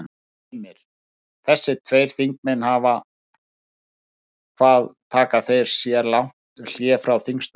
Heimir: Þessir tveir þingmenn hvað taka þeir sér lang hlé frá þingstörfum?